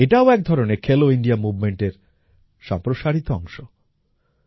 এটাও একধরনের খেলো ইন্ডিয়া মুভমেন্টের সম্প্রসারিত অংশ